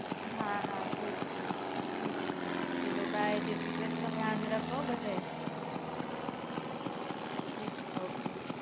હાં હાં થીક છે. ઠીક છે ચાલો બાય જય શ્રી કૃષ્ણ ધ્યાન રાખો હો બધાય. ઠીક છે ઓકે.